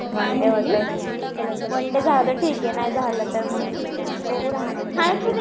One day होतंय का. One day झालं ठीक आहे. नाही झालं तर मग बघू राहण्याचं.